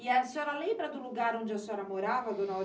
E a senhora lembra do lugar onde a senhora morava, dona Au?